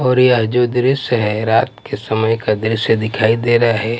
और यह जो दृश्य है रात के समय का दृश्य दिखाई दे रहा है।